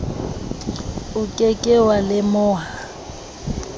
o ke ke wa lemoha